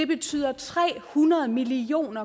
betyder tre hundrede million